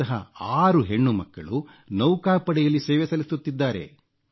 ಇಂತಹ 6 ಹೆಣ್ಣುಮಕ್ಕಳು ನೌಕಾಪಡೆಯಲ್ಲಿ ಸೇವೆ ಸಲ್ಲಿಸುತ್ತಿದ್ದಾರೆ